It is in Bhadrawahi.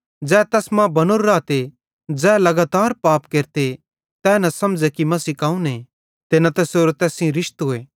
ज़ै तैस मां बनोरो रहते तै लगातार पाप न केरे ज़ै लगातार पाप केरते तै न समझ़े कि मसीह कौन आए ते न तैसेरो तैस सेइं रिशतोए